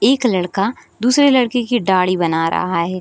एक लड़का दूसरे लड़के की दाढ़ी बना रहा है।